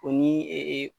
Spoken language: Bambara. O ni ee